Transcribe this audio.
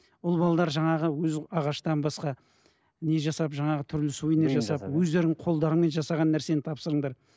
ұл жаңағы өзі ағаштан басқа не жасап жаңағы түрлі сувенир жасап өздеріңнің қолдарымен жасаған нәрсені тапсырыңдар